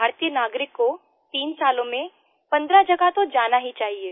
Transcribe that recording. भारतीय नागरिक को 3 सालों में 15 जगह तो जाना ही चाहिए